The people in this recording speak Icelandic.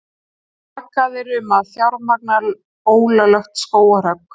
Sakaðir um að fjármagna ólöglegt skógarhögg